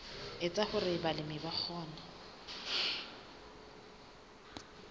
etsa hore balemi ba kgone